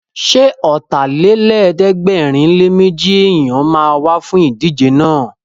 Ṣé Ọ̀tàlélẹ̀ẹ́dẹ́gbẹ̀rinléméjì èèyàn ma wá fún ìdíje náà?